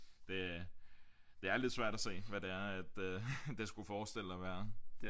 Det det er lidt svært at se hvad det er at øh det skulle forestille at være